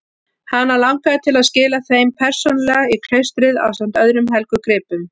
Hana langaði til að skila þeim persónulega í klaustrið ásamt öðrum helgum gripum.